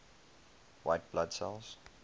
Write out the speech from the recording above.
white blood cells